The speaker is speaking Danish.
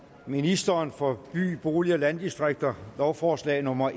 ministeren for by bolig og landdistrikter lovforslag nummer